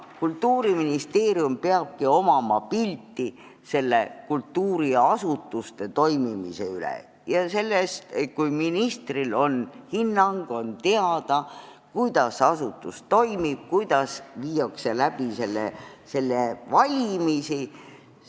Kultuuriministeeriumil peabki olema pilt, kuidas kultuuriasutused toimivad, ja ma arvan, et selles ei ole mitte midagi halba, kui ministril on olemas hinnang, tal on teada, kuidas asutus toimib, kuidas viiakse läbi valimisi.